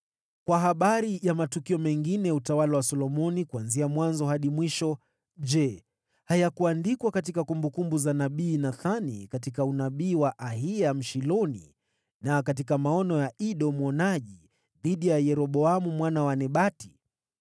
Kwa habari za matukio mengine ya utawala wa Solomoni, kuanzia mwanzo hadi mwisho, je, hayakuandikwa katika kumbukumbu za nabii Nathani, katika unabii wa Ahiya Mshiloni na katika maono ya Ido mwonaji kuhusu Yeroboamu mwana wa Nebati?